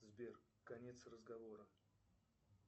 сбер конец разговора